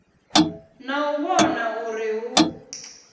na u vhona uri hu